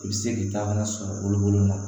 I bɛ se k'i ta kana sɔrɔ bolo la